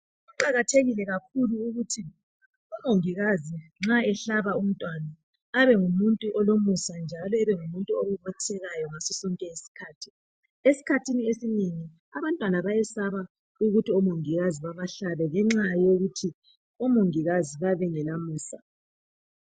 Kuqakathekile kakhulu ukuthi umongikazi nxa ehlaba umntwana abe ngumuntu olomusa njalo abengumuntu obobothekayo ngaso sonke isikhathi. Esikhathini esinengi abantwana bayesaba ukuthi omongikazi babahlabe ngenxa yokuthi omongikazi bayabe bengelamusa.